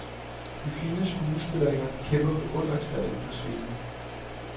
De to fine skuespillerinder kæmper beundringsværdigt på scenen.